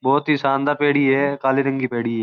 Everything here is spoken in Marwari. बहुत ही शानदार पेढ़ी है काली रंग का पेढ़ी है।